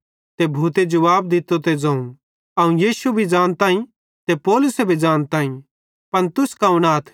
ते भूते जुवाब दित्तो ते ज़ोवं अवं यीशु मसीह भी ज़ानताईं ते पौलुसे भी ज़ानताईं पन तुस कौन आथ